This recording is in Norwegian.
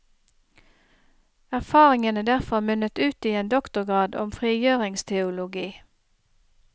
Erfaringene derfra munnet ut i en doktorgrad om frigjøringsteologi.